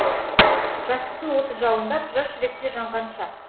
жастықтың оты жалындап жас жүректе жанған шақ